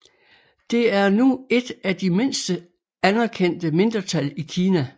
Det er nu et af de mindste anerkendte mindretal i Kina